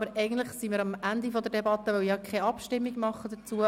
Eigentlich sind wir am Ende der Debatte angelangt, weil wir darüber nicht abstimmen.